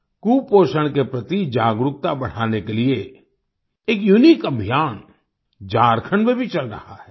कुपोषण के प्रति जागरूकता बढ़ाने के लिए एक यूनिक अभियान झारखंड में भी चल रहा है